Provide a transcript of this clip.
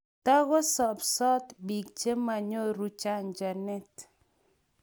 tukusobsot biik che manyoru chanjoit